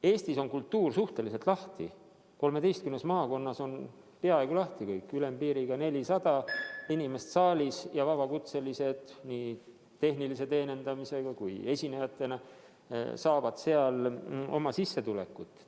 Eestis on kultuur suhteliselt lahti, 13 maakonnas on peaaegu kõik lahti, ülempiiriks 400 inimest saalis, ja vabakutselised nii tehniliste teenindajate kui ka esinejatena saavad seal sissetulekut teenida.